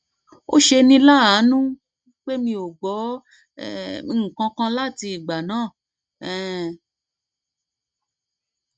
ó ṣeni láàánú pé mi ò gbọ um nǹkan kan láti igbà náà um